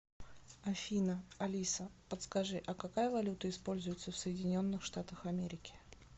афина алиса подскажи а какая валюта используется в соединенных штатах америки